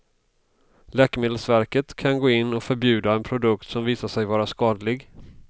Läkemedelsverket kan gå in och förbjuda en produkt som visar sig vara skadlig.